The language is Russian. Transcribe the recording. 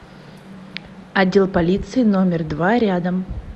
отдел полиции номер два рядом